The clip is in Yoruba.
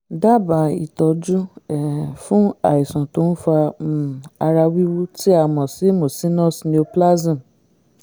dábàá ìtọ́jú um fún àìsàn tó ń fa um ara wíwú tí a mọ̀ sí mucinous neoplasm